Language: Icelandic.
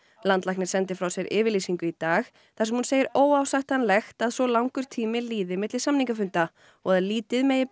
landlæknir sendi frá sér yfirlýsingu í dag þar sem hún segir óásættanlegt að svo langur tími líði milli samningafunda og að lítið megi